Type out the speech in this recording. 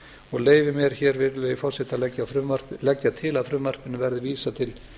og leyfi mér hér virðulegi forseti að leggja til að frumvarpinu verði vísað til